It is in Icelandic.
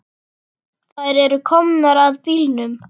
Þær eru komnar að bílnum.